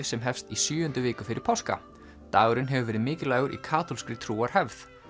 sem hefst í sjöundu viku fyrir páska dagurinn hefur verið mikilvægur í kaþólskri trúarhefð